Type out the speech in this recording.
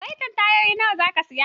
Saitin tayoyi nawa zaka saya?